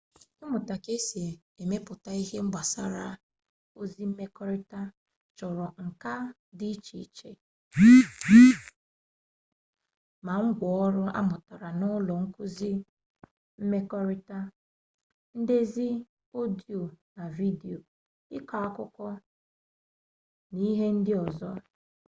ịmụta ka esi emepụta ihe mgbasa ozi mmekọrịta chọrọ nka dị iche iche ma ngwa ọrụ amụtara n'ụlọ nkụzi mmekọrịta ndezi ọdiyo na vidiyo ịkọ akụkọ n'ihe ndị ọzọ